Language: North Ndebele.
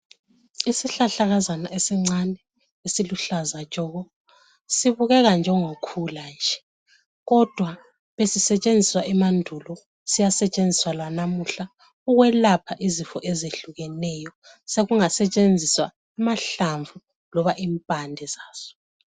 Isihlahlakazana esincane esiluhlaza tshoko, sibukeka njengo khula nje. Kodwa besisetshenziswa emandulo, siyasetshenziswa lanamuhla ukwelapha izifo ezehlukeneyo. Sokungasetshenziswa amahlamvu loba impande zazo.